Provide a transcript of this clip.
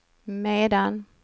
medan